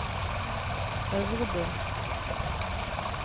Øvrebø